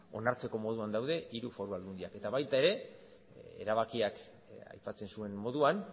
onartzeko moduan daude hiru foru aldundiak eta baita ere erabakiak aipatzen zuen moduan